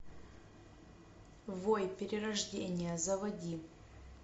вой перерождение заводи